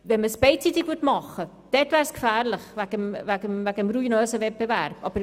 Dies beidseitig zu machen, wäre wegen des ruinösen Wettbewerbs gefährlich.